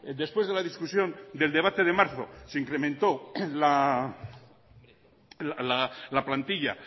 después de la discusión del debate de marzo se incrementó la plantilla